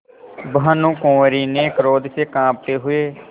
भानुकुँवरि ने क्रोध से कॉँपते हुए